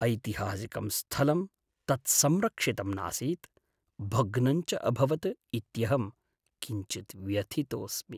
ऐतिहासिकं स्थलं तत् संरक्षितं नासीत्, भग्नञ्च अभवत् इत्यहं किञ्चित् व्यथितोऽस्मि।